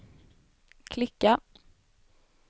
klicka